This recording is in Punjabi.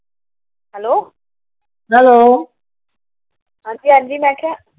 ਹੈਲੋ ਹਾਂਜੀ ਹਾਂਜੀ ਮੈ ਕਿਹਾ